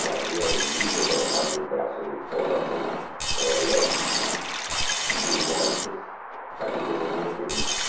E abria os vidros, colocava o braço de fora com Rolex brilhantes para que todo mundo te visse.